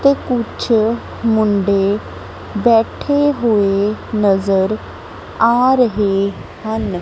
ਤੇ ਕੁਛ ਮੁੰਡੇ ਬੈਠੇ ਹੋਏ ਨਜ਼ਰ ਆ ਰਹੇ ਹਨ।